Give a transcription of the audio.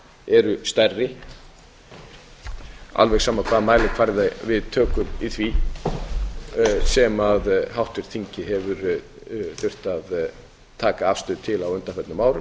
eru stærri alveg sama hvaða mælikvarða við tökum í því sem háttvirt þing hefur þurft að taka afstöðu til á undanförnum árum